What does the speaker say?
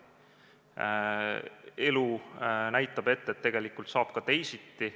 Elu näitab ette, et saab ka teisiti.